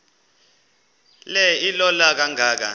le ilola kangaka